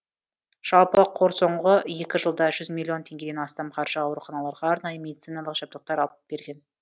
жалпы қор соңғы екі жылда жүз миллион теңгеден астам қаржыға ауруханаларға арнайы медициналық жабдықтар алып берген